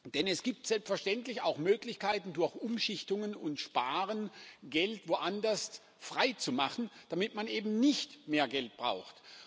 Denn es gibt selbstverständlich auch Möglichkeiten, durch Umschichtungen und Sparen Geld woanders freizumachen, damit man eben nicht mehr Geld braucht.